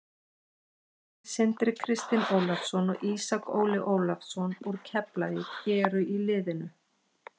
Bræðurnir Sindri Kristinn Ólafsson og Ísak Óli Ólafsson úr Keflavík eru í liðinu.